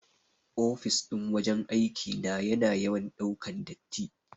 Ofis ɗin wajan aiki na yana yawan ɗaukan datti.